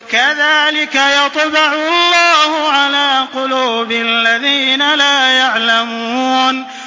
كَذَٰلِكَ يَطْبَعُ اللَّهُ عَلَىٰ قُلُوبِ الَّذِينَ لَا يَعْلَمُونَ